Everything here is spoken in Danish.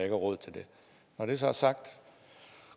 er råd til det når det så er sagt